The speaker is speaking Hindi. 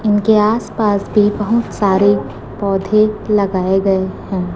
उनके आस पास भी बहुत सारे पौधे लगाए गए हैं।